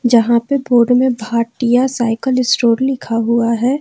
जहां पे बोर्ड में भाटियां साइकल स्टोर लिखा हुआ है।